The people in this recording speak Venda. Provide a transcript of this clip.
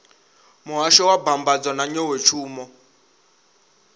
muhasho wa mbambadzo na nḓowetshumo